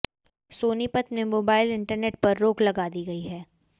सोनीपत में mobile internet पर रोक लगा दी गई है